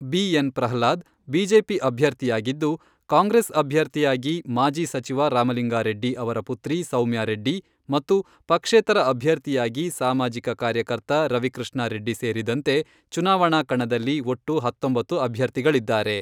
B N. Prahlad BJP ಅಭ್ಯರ್ಥಿಯಾಗಿದ್ದು, ಕಾಂಗ್ರೆಸ್ ಅಭ್ಯರ್ಥಿಯಾಗಿ ಮಾಜಿ ಸಚಿವ ರಾಮಲಿಂಗಾರೆಡ್ಡಿ ಅವರ ಪುತ್ರಿ ಸೌಮ್ಯಾ ರೆಡ್ಡಿ ಮತ್ತು ಪಕ್ಷೇತರ ಅಭ್ಯರ್ಥಿಯಾಗಿ ಸಾಮಾಜಿಕ ಕಾರ್ಯಕರ್ತ ರವಿಕೃಷ್ಣಾ ರೆಡ್ಡಿ ಸೇರಿದಂತೆ, ಚುನಾವಣಾ ಕಣದಲ್ಲಿ ಒಟ್ಟು ಹತ್ತೊಂಬತ್ತು ಅಭ್ಯರ್ಥಿಗಳಿದ್ದಾರೆ.